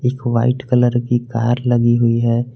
White colour की car लगी हुई है।